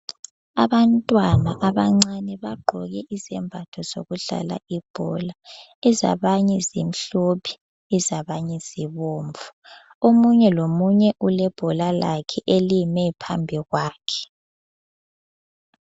Abantwana abancane bagqoke izembatho zokudlala ibhola. Ezabanye zimhlophe ezabanye zibomvu. Omunye lomunye ulebhola lakhe elime phambi kwakhe.